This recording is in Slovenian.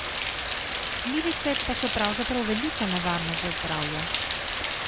Glivice pa so pravzaprav velika nevarnost za zdravje.